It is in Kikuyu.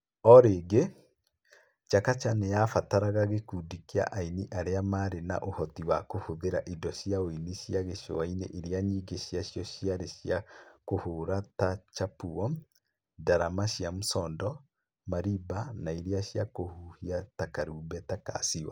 O rĩngĩ, Chakacha nĩ yabataraga gĩkundi kĩa aini arĩa maarĩ na ũhoti wa kũhũthĩra indo cia ũini cia gĩcũa-inĩ iria nyingĩ ciacio ciarĩ cia kũhũũra ta chapuo, ndarama cia msondo, marimba na iria cia kũhuhia ta karumbeta ka siwa.